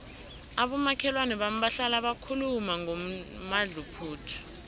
abomakhelwana bami bahlala bakhuluma ngomadluphuthu